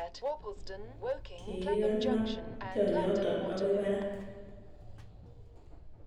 Kikikanab tionyoton okoi barak